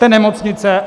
Jste nemocnice?